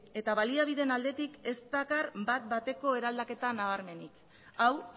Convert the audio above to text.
eta baliabideen aldetik ez dakar bat bateko eraldaketa nabarmenik hau